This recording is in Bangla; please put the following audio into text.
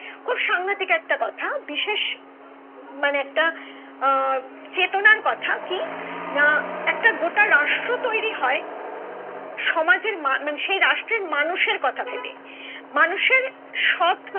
খুব সাংঘাতিক একটা কথা বিশেষ মানে একটা আহ চেতনার কথা কি না একটা গোটা রাষ্ট্র তৈরি হয় সমাজের মা মানে সেই রাষ্ট্রের মানুষের কথা ভেবে মানুষের সৎ